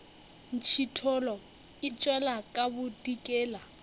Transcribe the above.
ntšhithola e tšwela ka bodikela